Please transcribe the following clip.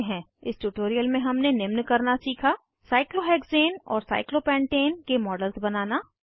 इस ट्यूटोरियल में हमने निम्न करना सीखा साइक्लोहेक्सेन और साइक्लोपेंटेन के मॉडल बनाना